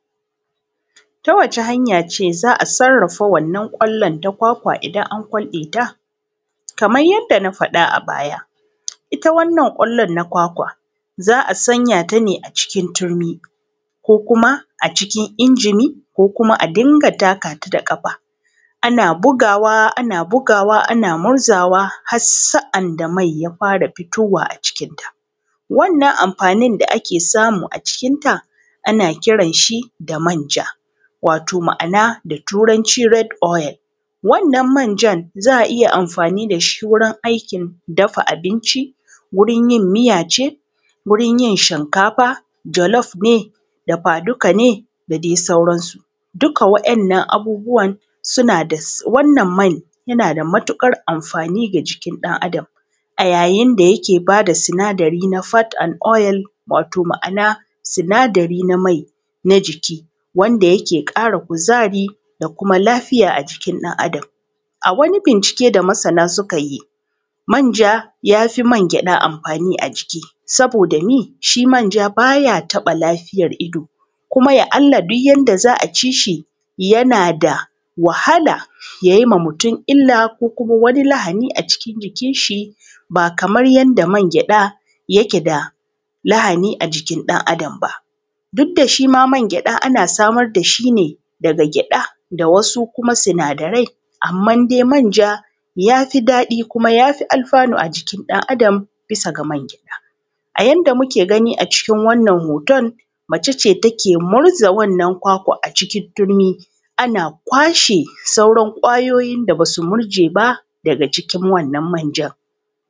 ta wace hanja ce za a sarrafa wannan ƙwallon ta kwakwa idan an kwalɗe ta kaman yanda na faɗa a baya ita wannan ƙwallon na kwakwa za a sanya ta ne a cikin turmi ko kuma a cikin injimi ko kuma a dinga taka ta da ƙafa ana bugawa ana bugawa ana murzawa har sa’anda mai ta fara fitowa a cikin ta wannan amfanin da ake samu a cikin ta ana kiran shi da manja wato ma'ana da turanci red oil wannan manjan za a iya amfani da shi wurin aikin dafa abinci wurin yin miya ce wurin yin shinkafa jalof ne dafa duka ne da dai sauran su dukka wa ‘en nan abubuwan suna da wannan mai yana da matuƙar amfani ga jikin ɗan adam a yajin da ja ke ba da sinadari na fat and oil wato ma'ana sinadari na mai na jiki wanda yake ƙara kuzari da kuma lafiya a jikin ɗan adam a wani bincike da masana suka yi manja ja fi man gyaɗa amfani a jiki saboda mi? shi manja baya taɓa lafiyar ido kuma ya Allah duk janda za a ci shi ja na da wahala yayi ma mutum illa ko kuma wani lahani a cikin jikin shi ba kamar yanda man gyaɗa yake da lahani a jikin ɗan adam ba duk da shi ma man gyaɗa ana samar da shi ne daga gyaɗa da wasu kuma sinadarai amma dai manja ya fi daɗi kuma ya fi alfanu a jikin ɗan adam bisa ga man gyaɗa a yanda muke gani a cikin wannan hoton mace ce take murza wannan kwakwan a cikin turmi ana kwashe sauran ƙwayoyin da basu murje ba daga cikin wannan manjan.